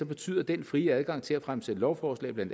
betyder den frie adgang til at fremsætte lovforslag bla